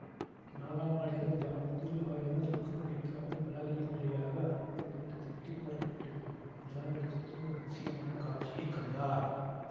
நாலாம் நாள் இரவு ஜாமத்தில் ஆயனர் தூக்கம் பிடிக்காமல் பலகணியின் வழியாக அரண்மனைத் தோட்டத்தை எட்டி பார்த்து கொண்டிருந்தபோது நிலா வெளிச்சத்தில் ஓர் அதிசயமான காட்சியை கண்டார்